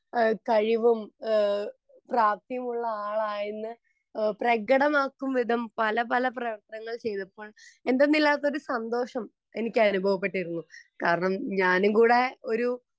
കഴിവും പ്രാപ്തിയും ഉള്ള ആളാണെന്നു പ്രകടമാക്കും വിധം പല പല പ്രവൃത്തികൾ ചെയ്തു എന്തെന്നില്ലാത്ത സന്തോഷം എനിക്ക് അനുഭവപ്പെട്ടിരുന്നു കാരണം ഞാനും കൂടെ ഒരു